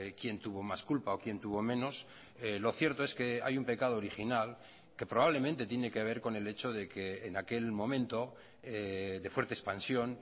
quién tuvo más culpa o quién tuvo menos lo cierto es que hay un pecado original que probablemente tiene que ver con el hecho de que en aquel momento de fuerte expansión